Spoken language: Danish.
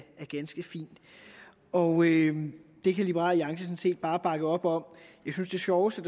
ganske fint og det kan liberal alliance sådan set bare bakke op om jeg synes det sjoveste